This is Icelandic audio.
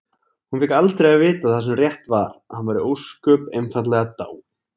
Hún fékk aldrei að vita það sem rétt var: að hann væri ósköp einfaldlega dáinn.